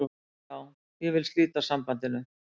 Já, ég vil slíta sambandinu.